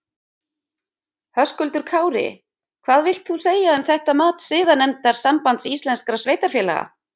Höskuldur Kári: Hvað vilt þú segja um þetta mat siðanefndar Sambands íslenskra sveitarfélaga?